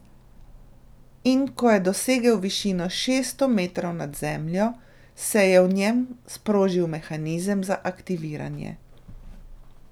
In ko je dosegel višino šeststo metrov nad zemljo, se je v njem sprožil mehanizem za aktiviranje.